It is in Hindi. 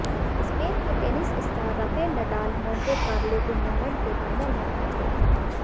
स्पेन के tennis star Rafael Nadal Monte Carlo tournament के फाइनल में पहुंच गए हैं